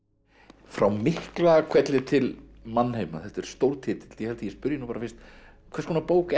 frá Miklahvelli til mannheima þetta er stór titill ég held ég spyrji bara fyrst hvers konar bók er